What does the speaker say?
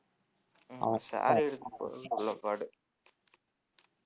அவன் chair எடுத்துப்போடுன்னு சொல்லபாடு